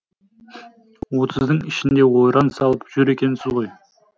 отыздың ішінде ойран салып жүр екенсіз ғой